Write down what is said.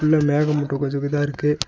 இதுல மேகமூட்டோ கொஞ்சோ இதா இருக்கு.